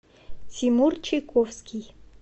тимур чайковский